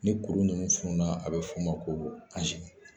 Ni kuru ninnu funun na , a bɛ fɔ o ma ko